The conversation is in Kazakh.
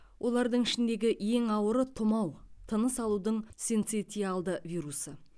олардың ішіндегі ең ауыры тұмау тыныс алудың синцитиалды вирусы